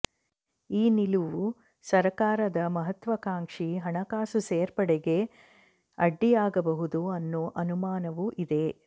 ಈ ನಿಲುವು ಸರ್ಕಾರದ ಮಹತ್ವಾ ಕಾಂಕ್ಷಿ ಹಣಕಾಸು ಸೇರ್ಪಡೆ ಗೆ ಅಡ್ಡಿಯಾಗಬಹುದು ಅನ್ನೋ ಅನುಮಾನವೂ ಇದೆ